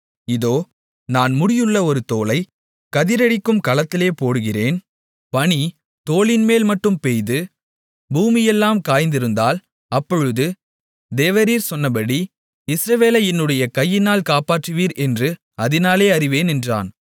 இதோ நான் முடியுள்ள ஒரு தோலை கதிரடிக்கும் களத்திலே போடுகிறேன் பனி தோலின்மேல் மட்டும் பெய்து பூமியெல்லாம் காய்ந்திருந்தால் அப்பொழுது தேவரீர் சொன்னபடி இஸ்ரவேலை என்னுடைய கையினால் காப்பாற்றுவீர் என்று அதினாலே அறிவேன் என்றான்